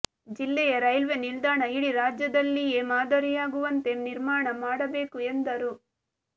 ಜಿಲ್ಲೆಯ ರೈಲ್ವೆ ನಿಲ್ದಾಣ ಇಡೀ ರಾಜ್ಯದಲ್ಲಿಯೇ ಮಾದರಿಯಾಗುವಂತೆ ನಿರ್ಮಾಣ ಮಾಡಬೇಕು ಎಂದರು